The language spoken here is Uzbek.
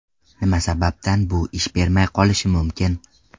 Nima sababdan bu ish bermay qolishi mumkin?